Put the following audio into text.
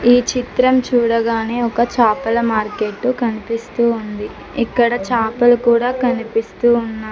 ఈ చిత్రం చూడగానే ఒక చాపల మార్కెట్టు కనిపిస్తూ ఉంది ఇక్కడ చాపలు కూడా కనిపిస్తూ ఉన్నా--